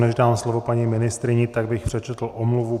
Než dám slovo paní ministryni, tak bych přečetl omluvu.